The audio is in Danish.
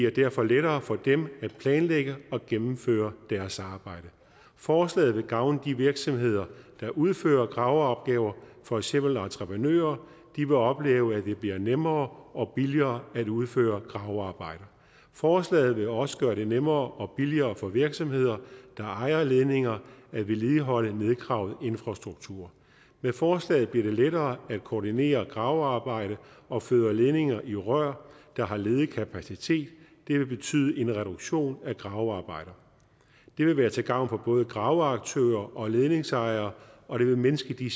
derfor lettere for dem at planlægge og gennemføre deres arbejde forslaget vil gavne de virksomheder der udfører graveopgaver for eksempel entreprenører de vil opleve at det bliver nemmere og billigere at udføre gravearbejder forslaget vil også gøre det nemmere og billigere for virksomheder der ejer ledninger at vedligeholde nedgravet infrastruktur med forslaget bliver det lettere at koordinere gravearbejde og føre ledninger i rør der har ledig kapacitet det vil betyde en reduktion af gravearbejder det vil være til gavn for både graveaktører og ledningsejere og det vil mindske de